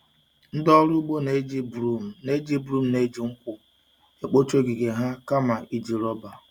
Ndị ọrụ ugbo na-eji broom na-eji broom na-eji nkwụ ekpocha ogige ha kama iji rọba.